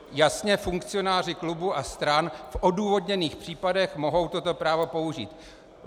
Jasně funkcionáři klubů a stran v odůvodněných případech mohou toto právo použít.